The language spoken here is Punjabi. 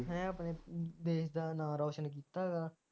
ਹੈਂ ਆਪਣੇ ਦੇਸ਼ ਦਾ ਨਾਂ ਰੌਸ਼ਨ ਕੀਤਾ ਹੈਗਾ